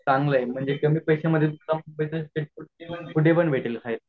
चांगला हाये म्हणजे कमी पैश्या मध्ये पण कुठे पण भेटेल खायाला